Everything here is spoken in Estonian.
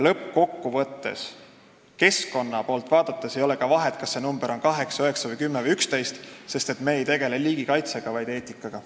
Lõppkokkuvõttes ei ole keskkonna poolt vaadates ka vahet, kas see number on 8, 9, 10 või 11, sest me ei tegele praegu liigikaitsega, vaid eetikaga.